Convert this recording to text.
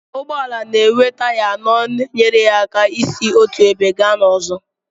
Ụgbọala na-enwe taya anọ na-enyere ya aka isi n'otu ebe gaa n'ọzọ.